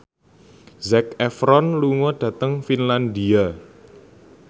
Zac Efron lunga dhateng Finlandia